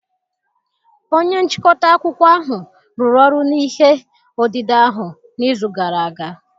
Onye nchịkọta akụkọ ahụ rụrụ ọrụ n'ihe odide ahụ n'izu gara aga